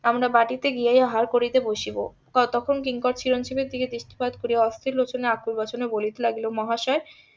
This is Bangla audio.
আমরা বাটিতে গিয়ে আহার করিতে বসিব ততক্ষন কিংকর চিরঞ্জিবের দিকে দৃষ্টিপাত করিয়া অস্থির লোচনে . বলিতে লাগিল মহাশয়